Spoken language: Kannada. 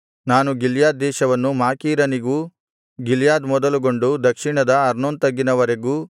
ನಾನು ಗಿಲ್ಯಾದ್ ದೇಶವನ್ನು ಮಾಕೀರನಿಗೂ ಗಿಲ್ಯಾದ್ ಮೊದಲುಗೊಂಡು ದಕ್ಷಿಣದ ಅರ್ನೋನ್ ತಗ್ಗಿನ ವರೆಗೂ